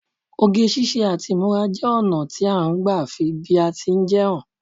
Oge ṣíṣe àti ìmúra jẹ́ ọna ti a n gba fi bí a ti jẹ́ hàn